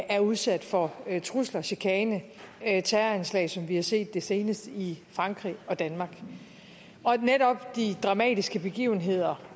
er udsat for trusler chikane og terroranslag som vi har set det senest i frankrig og danmark og netop de dramatiske begivenheder